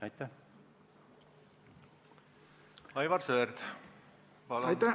Aivar Sõerd, palun!